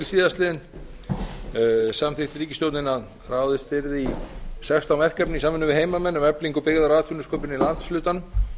síðastliðinn samþykkti ríkisstjórnin að ráðist yrði í sextán verkefni í samvinnu við heimamenn um eflingu byggðar og atvinnusköpunar í landshlutanum